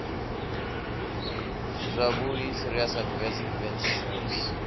zwavhui serious adverse events saes